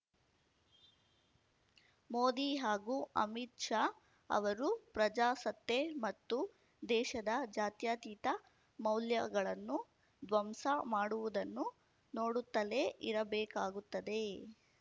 ಮೋದಿ ಹಾಗೂ ಅಮಿತ್‌ ಶಾ ಅವರು ಪ್ರಜಾಸತ್ತೆ ಮತ್ತು ದೇಶದ ಜಾತ್ಯತೀತ ಮೌಲ್ಯಗಳನ್ನು ಧ್ವಂಸ ಮಾಡುವುದನ್ನು ನೋಡುತ್ತಲೇ ಇರಬೇಕಾಗುತ್ತದೆ